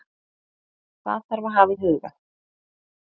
Hvað þarf að hafa í huga